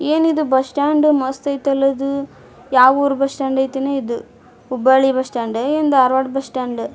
ಏನಿದು bus stand ಮಸ್ತ್ ಆಯ್ತಲ್ಲಾ ಇದು ಯಾವುರು ಬಸ್ ಸ್ಟಾಂಡ್ ಆಯ್ತೆನೋ ಇದು. ಹುಬ್ಬಳಿ ಬಸ್ ಸ್ಟಾಂಡ್ ಏನೋ ದಾರವಾಡ ಬಸ್ ಸ್ಟಾಂಡ್ .